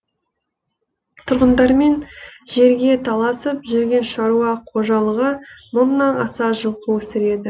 тұрғындармен жерге таласып жүрген шаруа қожалығы мыңнан аса жылқы өсіреді